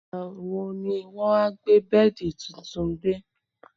Ìgbà wo ni wọn á gbé bẹ́ẹ̀dì tuntun dé?